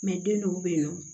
den dɔw be yen nɔ